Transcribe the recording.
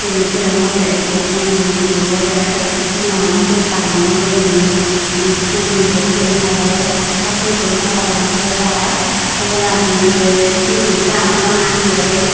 ibet degongotte ekku guru gurubure muanot suot banney guriney indi thuguri bot sin tare khaddo dun parapang hebar oboladi the sini dhaan obo na hijeni.